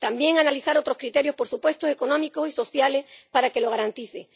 también analizar otros criterios, por supuesto, económicos y sociales para que lo garanticen.